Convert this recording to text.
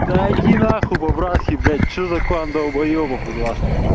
да иди на хуй по-братски блять что за клан долбоебов из вас